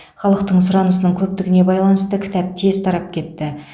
халықтың сұранысының көптігіне байланысты кітап тез тарап кетті